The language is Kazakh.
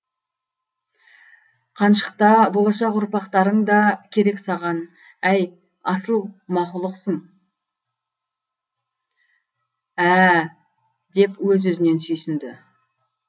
қаншық та болашақ ұрпақтарың да керек саған әй асыл мақұлықсың ә ә деп өз өзінен сүйсінді